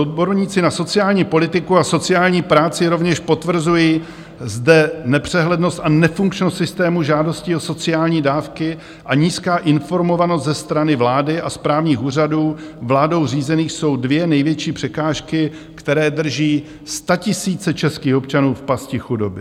Odborníci na sociální politiku a sociální práci rovněž potvrzuji zde nepřehlednost a nefunkčnost systému žádostí o sociální dávky a nízká informovanost ze strany vlády a správních úřadů vládou řízených jsou dvě největší překážky, které drží statisíce českých občanů v pasti chudoby.